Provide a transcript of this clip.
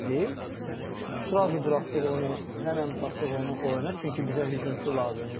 Gəldi, srazu buraxdıq onu, həmən buraxdıq onu oyuna, çünki bizə hücumçu lazım idi.